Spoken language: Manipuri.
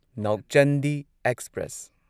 ꯅꯧꯆꯥꯟꯗꯤ ꯑꯦꯛꯁꯄ꯭ꯔꯦꯁ